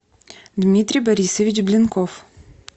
дмитрий борисович блинков